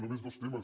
només dos temes